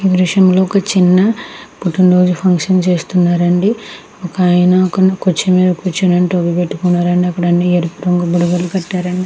ఈ దృశ్యం లో ఒక చిన్న కుటుంబం వారు ఫంక్షన్ చేస్తున్నారు అండి. ఆయన కూర్చునే కూర్చునే టోపీ పెట్టుకున్నారు అండి. అక్కడ ఆన్ని ఎరుపు రంగు బుడగలు పెటారు అండి.